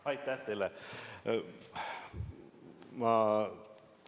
Aitäh teile!